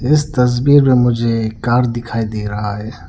इस तस्वीर में मुझे एक कार दिखाई दे रहा है।